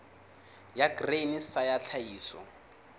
ya grain sa ya tlhahiso